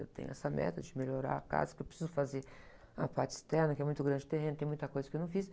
Eu tenho essa meta de melhorar a casa, que eu preciso fazer a parte externa, que é muito grande o terreno, tem muita coisa que eu não fiz.